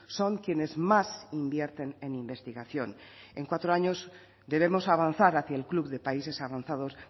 son quienes más invierten en investigación en cuatro años debemos avanzar hacia el club de países avanzados